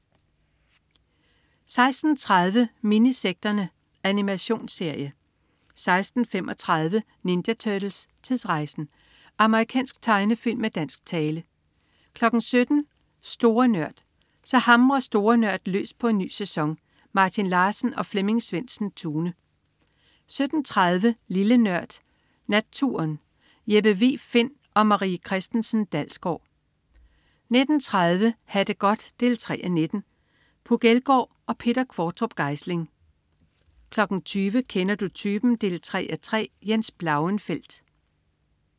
16.30 Minisekterne. Animationsserie 16.35 Ninja Turtles: Tidsrejsen! Amerikansk tegnefilm med dansk tale 17.00 Store Nørd. Så hamrer Store NØRD løs på en ny sæson! Martin Larsen og Flemming Svendsen-Tune 17.30 Lille Nørd. Natturen. Jeppe Vig Find & Marie Christensen Dalsgaard 19.30 Ha' det godt 3:19. Puk Elgård og Peter Qvortrup Geisling 20.00 Kender du typen? 3:3. Jens Blauenfeldt